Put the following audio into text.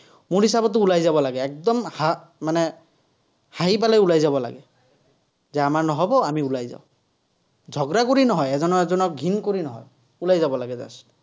মোৰ হিচাপতটো ওলাই যাব লাগে, একদম মানে হাঁহি পেলাই ওলাই যাব লাগে। যে আমাৰ নহ'ব আমি ওলাই যাঁও। কৰি নহয়, এজনে এজনক ঘিণ কৰি নহয়। ওলাই যাব লাগে just ।